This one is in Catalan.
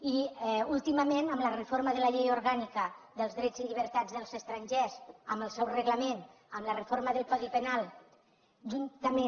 i últimament amb la reforma de la llei orgànica dels drets i llibertats dels estrangers amb el seu reglament amb la reforma del codi penal juntament